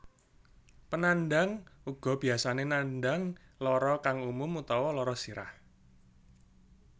Panandhang uga biyasane nandhang lara kang umum utawa lara sirah